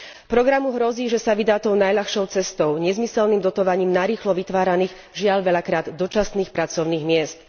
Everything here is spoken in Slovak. Programu hrozí, že sa vydá tou najľahšou cestou nezmyselným dotovaním narýchlo vytváraných, žiaľ, veľakrát dočasných pracovných miest.